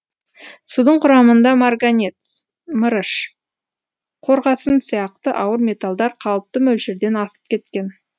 судың құрамында марганец мырыш қорғасын сияқты ауыр металдар қалыпты мөлшерден асып кеткен